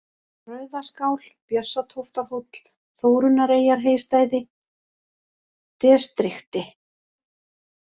Rauðaskál, Bjössatóftarhóll, Þórunnareyjarheystæði, Destrikti